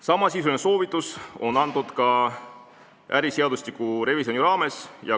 Samasisuline soovitus on antud ka äriseadustiku revisjoni raames.